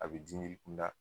A bi kunda